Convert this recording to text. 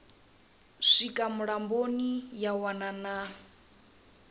swika mulamboni ya wana na